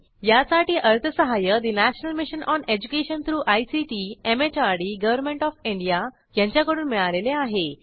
यासाठी अर्थसहाय्य national mission on education through ICT MHRD government of India यांच्याकडून मिळालेले आहे